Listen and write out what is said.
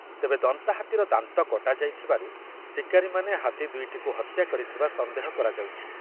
ତେବେ ଦନ୍ତାହାତୀର ଦାନ୍ତ କଟାଯାଇଥିବାରୁ ଶିକାରିମାନେ ହାତୀ ଦୁଇଟିକୁ ହତ୍ୟା କରିଥିବା ସନ୍ଦେହ କରାଯାଉଛି ।